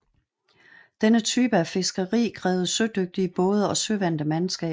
Denne type af fiskeri krævede sødygtige både og søvante mandskaber